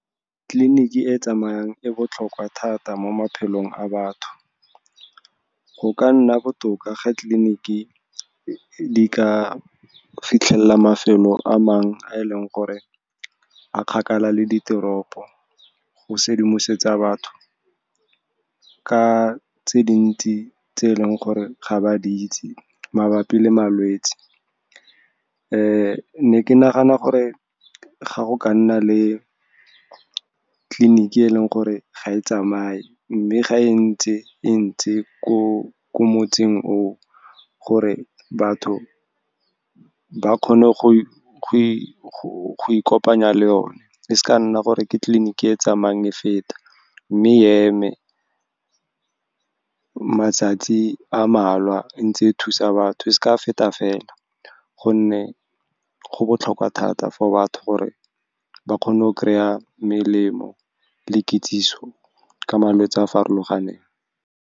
Tleliniki e tsamayang e botlhokwa thata mo maphelong a batho. Go ka nna botoka ga tleliniki di ka fitlhelela mafelo a mangwe a e leng gore a kgakala le diteropo, go sedimosetso batho ka tse dintsi tse e leng gore ga ba di itse mabapi le malwetse. Ne ke nagana gore ga go ka nna le tleliniki e leng gore ga e tsamaye mme ga e ntse e ntse ko motseng o o, gore batho ba kgone go ikopanya le yone. E seka nna gore ke tleliniki e tsamayang e feta, mme e eme matsatsi a mmalwa, e ntse e thusa batho ka feta fela, gonne go botlhokwa thata for batho gore ba kgone go kry-a melemo le kitsiso ka malwetse a a farologaneng.